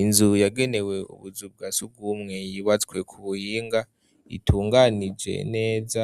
Inzu yagenewe ubuzu bwasugumwe yubatswe ku buhinga itunganije neza